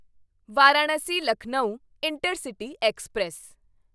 Varanasi Lucknow intercity express